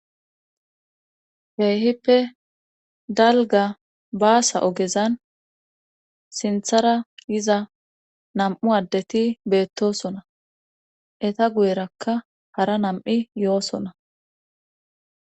keehipe dalga baasa ogezan sinthara yiza nam7u adeti beettosona eta guyerakka hara nam7i yoosona